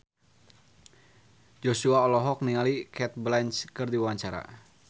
Joshua olohok ningali Cate Blanchett keur diwawancara